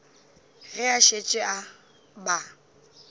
ge a šetše a ba